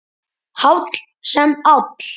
Háll sem áll.